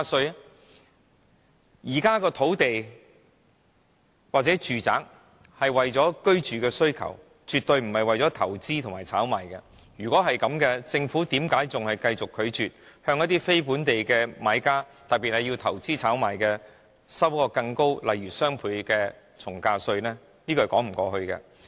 如果說現在的土地或住宅是為了滿足市民的住屋需求，絕對不是為了投資和炒賣，那為甚麼政府繼續拒絕向非本地的買家，特別是進行投資炒賣的人，徵收更高的稅項，例如雙倍從價稅？